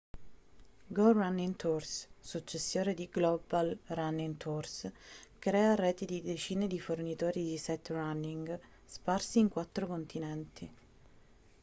go running tours successore di global running tours crea reti di decine di fornitori di sightrunning sparsi in quattro continenti